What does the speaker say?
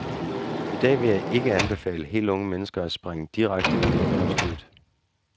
I dag vil jeg ikke anbefale helt unge mennesker at springe direkte ud i erhvervslivet.